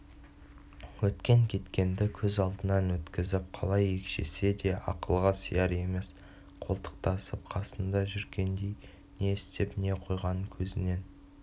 өткен-кеткенді көз алдынан өткізіп қалай екшесе де ақылға сияр емес қолтықтасып қасында жүргендей не істеп не қойғанын көзінен